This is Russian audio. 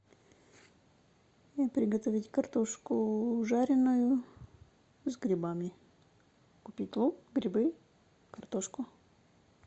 приготовить картошку жареную с грибами купить лук грибы картошку